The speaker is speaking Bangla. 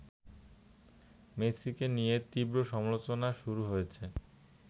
মেসিকে নিয়ে তীব্র সমালোচনা শুরু হয়েছে